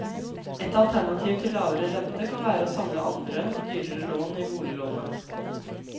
Et alternativ til lavere rente, kan være å samle andre, dyrere lån i boliglånet.